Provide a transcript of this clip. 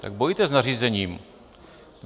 Tak bojujte s nařízením.